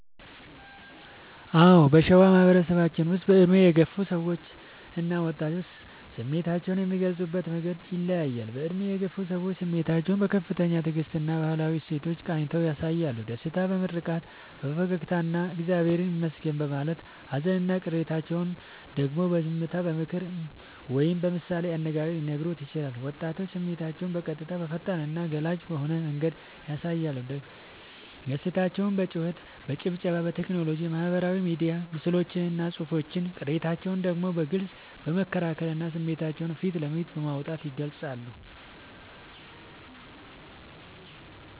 አዎ: በሸዋ ማህበረሰባችን ውስጥ በዕድሜ የገፉ ሰዎችና ወጣቶች ስሜታቸውን የሚገልጹበት መንገድ ይለያያል፦ በዕድሜ የገፉ ሰዎች፦ ስሜታቸውን በከፍተኛ ትዕግስትና በባህላዊ እሴቶች ቃኝተው ያሳያሉ። ደስታቸውን በምርቃት፣ በፈገግታና «እግዚአብሔር ይመስገን» በማለት: ሃዘንና ቅሬታቸውን ደግሞ በዝምታ: በምክር ወይም በምሳሌ አነጋገር ሊነግሩን ይችላሉ። ወጣቶች፦ ስሜታቸውን በቀጥታ: በፈጣንና ገላጭ በሆነ መንገድ ያሳያሉ። ደስታቸውን በጩኸት: በጭብጨባ: በቴክኖሎጂ (በማህበራዊ ሚዲያ ምስሎችና ጽሑፎች): ቅሬታቸውን ደግሞ በግልጽ በመከራከርና ስሜታቸውን ፊት ለፊት በማውጣት ይገልጻሉ።